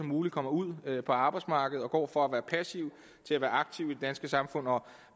muligt kommer ud på arbejdsmarkedet og går fra at være passiv til at være aktiv i det danske samfund